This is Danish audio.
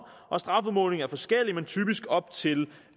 og strafudmålingen er forskellig men typisk op til